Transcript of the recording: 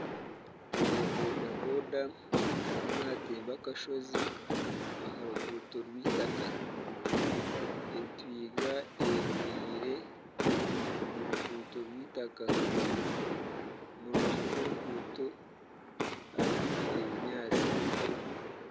Owa bodaboda arimu naatemba akashozi, aha ruguuto rw'eitaka. Entwiga eyemereire omu ruguuto rw'eitaka. Omu rubaju rw'oruguuto harimu ebinyaatsi.